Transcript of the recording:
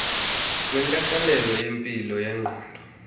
wenkathalelo yempilo yengqondo